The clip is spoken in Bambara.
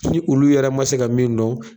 Ni olu yɛrɛ ma se ka min dɔn.